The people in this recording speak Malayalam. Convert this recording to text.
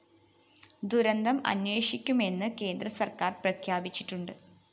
ദുരന്തം അന്വേഷിക്കുമെന്ന് കേന്ദ്രസര്‍ക്കാര്‍ പ്രഖ്യാപിച്ചിട്ടുണ്ട്